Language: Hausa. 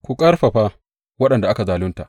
Ku ƙarfafa waɗanda aka zalunta.